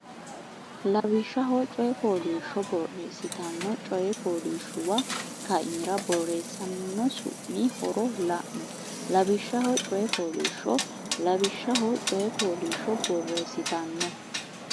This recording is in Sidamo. lawishshaho coy fooliishsho borressittanno coy fooliishshuwa kaimira borreessamino su mi horo la no lawishshaho coy fooliishsho lawishshaho coy fooliishsho borressittanno.